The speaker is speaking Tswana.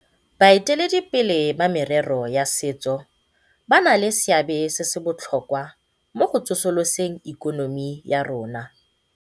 Baeteledipele ba merero ya setso ba na le seabe se se botlhokwa mo go tsosoloseng ikonomi ya rona